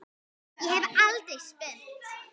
Ég hef aldrei spurt.